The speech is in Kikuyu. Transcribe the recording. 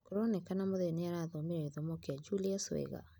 Kuronekana Muthee nĩarathomire gĩthomo kĩa Julius wega.